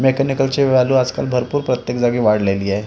मेकॅनिकलची value आजकाल भरपूर प्रत्येक जागी वाढलेली आहे.